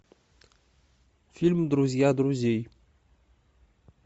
фильм друзья друзей